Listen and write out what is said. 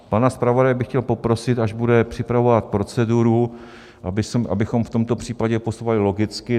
Pana zpravodaje bych chtěl poprosit, až bude připravovat proceduru, abychom v tomto případě postupovali logicky.